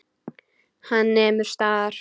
Hann nemur staðar.